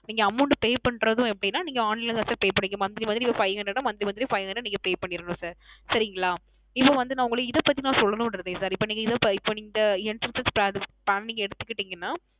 நீங்க Amount Pay பண்ணுவது எப்படின நீங்க Online தான் SirPay பண்ணிக்கனும் Monthly Monthly ஒரு Five Hundred ஒரு Monthly monthly Five hundred நீங்க Pay பண்ணிறனும் Sir சரிங்களா இப்போ வந்து நான் உங்கள இதைப்பத்தி சொல்லனும் இப்போ நீங்க இந்த Entrance Plan எடுத்துக்கிட்டிங்கனா என்றால்